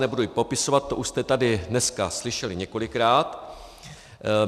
Nebudu ji popisovat, to už jste tady dneska slyšeli několikrát.